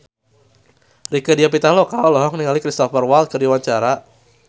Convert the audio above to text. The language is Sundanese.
Rieke Diah Pitaloka olohok ningali Cristhoper Waltz keur diwawancara